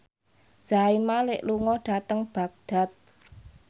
Zayn Malik lunga dhateng Baghdad